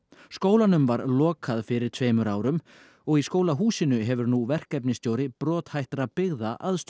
skólanum var lokað fyrir tveimur árum og í skólahúsinu hefur nú verkefnisstjóri brothættra byggða aðstöðu